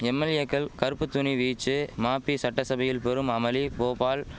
எம்எல்ஏக்கள் கறுப்புத்துணி வீச்சு மாபி சட்டசபையில் பெரும் அமளி போபால்